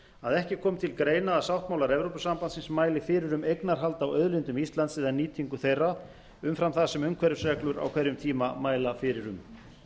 að ekki komi til greina að sáttmálar evrópusambandsins mæli fyrir um eignarhald á auðlindum íslands eða nýtingu þeirra umfram það sem umhverfisreglur á hverjum tíma mæla fyrir um